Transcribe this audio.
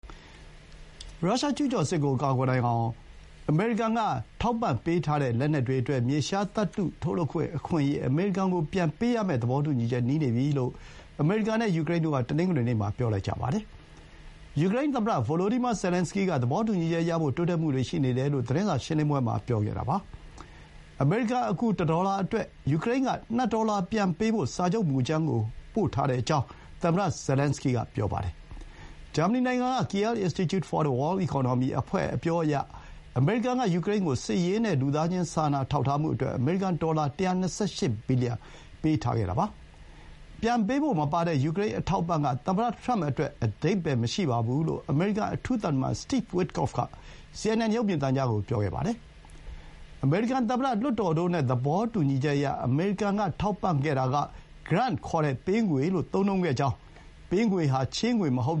ရုရှားကျူးကျော်စစ်ကို ကာကွယ်နိုင်အောင် အမေရိကန် အထောက်အပံ့ လက်နက်တွေအတွက် မြေရှားသတ္တု ထုတ်လုပ်ခွင့် အခွင့်အရေး အမေရိကန်ကိုပေးဖို့ သဘောတူညီချက် နီးနေပြီလို့ အမေရိကန်နဲ့ ယူကရိန်းတို့က တနင်္ဂနွေနေ့မှာ ပြောလိုက်ကြပါတယ်။ ယူကရိန်းသမ္မတ ဗိုလိုဒီမာ ဇယ်လန်စကီးက သဘောတူညီချက်ရဖို့ တိုးတက်မှုတွေ ရှိနေတယ်လို့ သတင်းစာရှင်းလင်းပွဲမှာ ပြောပါတယ်။ အမေရိကန်အကူ ၁ ဒေါ်လာအတွက် ယူကရိန်းက ၂ ဒေါ်လာပြန်ပေးဖို့ စာချုပ်မူကြမ်းကို ပို့ထားကြောင်း သမ္မတ ဇယ်လန်စကီးက ပြောပါတယ်။ Germany နိုင်ငံက Kiel Institute for the World Economy အဖွဲ့ အပြောအရ အမေရိကန်က ယူကရိန်းကို စစ်ရေးနဲ့ လူသားချင်း စာနာထောက်ထားမှုအတွက် အမေရိကန်ဒေါ်လာ ၁၂၈ ဘီလီယံ ပေးခဲ့တာပါ။ ပြန်ပေးဖို့မပါတဲ့ ယူကရိန်းအထောက်အပံ့က သမ္မတထရမ့်အတွက် အဓိပ္ပါယ်မရှိဘူးလို့ အမေရိကန် အထူးသံတမန် Steve Witkoff က စီအင်န်အင်န် ရုပ်မြင်သံကြားကို ပြောပါတယ်။ အမေရိကန်သမ္မတ၊ လွှတ်တော်တို့နဲ့ သဘောတူညီချက်အရ အမေရိကန် ထောက်ပံ့တာက ပေးငွေ လို့ သုံးနှုန်းခဲ့ကြောင်း၊ ပေးငွေဟာ ချေးငွေမဟုတ်